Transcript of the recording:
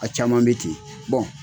A caman bɛ ten